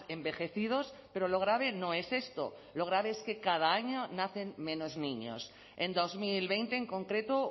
envejecidos pero lo grave no es esto lo grave es que cada año nacen menos niños en dos mil veinte en concreto